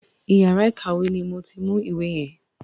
Iyàrá ìkàwé ni mo ti mú ìwé yen.